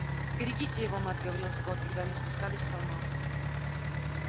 берегите его мэтт говорил скотт когда они спускались с холма